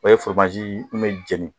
O ye min bɛ jeni